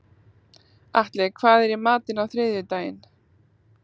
Atli, hvað er í matinn á þriðjudaginn?